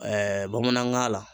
bamanankan la